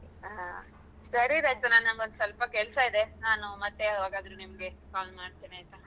ಹ ಸರಿ ರಚನಾ ನಂಗೊಂದ್ ಸ್ವಲ್ಪ ಕೆಲ್ಸ ಇದೆ ನಾನು ಮತ್ತೆ ಯಾವಾಗಾದ್ರೂ ನಿಮ್ಗೆ call ಮಾಡ್ತೇನೆ ಆಯ್ತಾ?